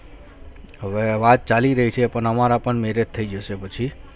હવે વાત ચાલી રહી છે પણ અમારા પણ marriage થયી જસે પછી